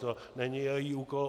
To není její úkol.